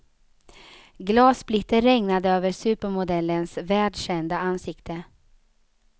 Glassplitter regnade över supermodellens världskända ansikte.